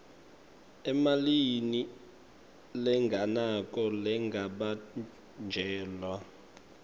emalini lengenako lengabanjelwa